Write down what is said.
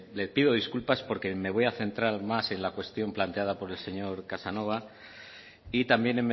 le pido disculpas porque me voy a centrar más en la cuestión planteada por el señor casanova y también